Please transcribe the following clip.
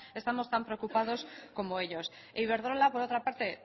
estamos tan preocupados como ellos iberdrola por otra parte